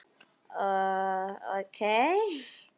Við syngjum af hjarta.